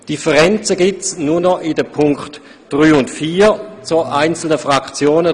Differenzen gibt es nur noch in den Punkten 3 und 4 bei einzelnen Fraktionen.